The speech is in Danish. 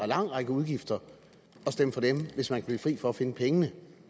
lang række udgifter og stemme for dem hvis man kan blive fri for at finde pengene